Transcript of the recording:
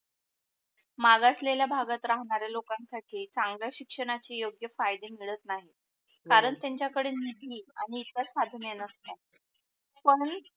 मागासलेल्या भागात राहणाऱ्या लोकांसाठी चांगल शिक्षणाची योग्य फायदे मिळत नाही हो कारण त्यांच्या कळे निधी आणि इतर साधन नसतात कोणी